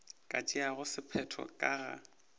ka tšeago sephetho ka ga